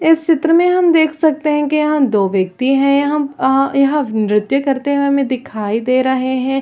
इस चित्र मे हम देख सकते है कि यहाँ दो व्यक्ति है यहाँ आ यहाँ नृत्य करते हुए हमें दिखाई दे रहे है।